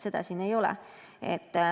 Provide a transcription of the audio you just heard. Seda siin ei ole.